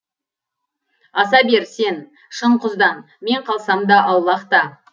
аса бер сен шың құздан мен қалсам да аулақта